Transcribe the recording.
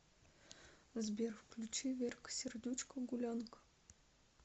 сбер включи верка сердючка гулянка